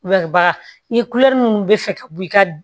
baga ni minnu bɛ fɛ ka bɔ i ka